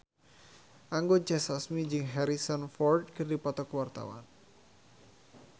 Anggun C. Sasmi jeung Harrison Ford keur dipoto ku wartawan